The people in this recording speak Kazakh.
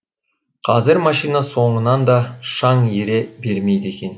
қазір машина соңынан да шаң ере бермейді екен